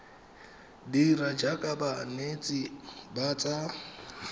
dira jaaka banetshi ba tsa